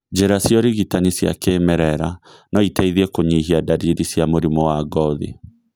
Njĩra cia ũrigitani cia kĩmerera noiteithie kũnyihia ndariri cia mũrimũ wa ngothi